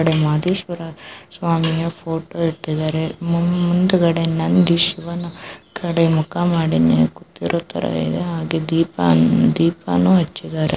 ಆ ಕಡೆ ಮಾದೇಶ್ವರ ಸ್ವಾಮಿಯ ಫೋಟೋ ಇಟ್ಟಿದ್ದಾರೆ ಮುಂದುಗಡೆ ನಂದೀಶ್ವರನ ಕಡೆ ಮುಖ ಮಾಡಿ ಕುತ್ತಿರೋ ತರ ಇದೆ ಹಾಗೆ ದೀಪ ದೀಪನೂ ಹಚ್ಚಿದ್ದಾರೆ.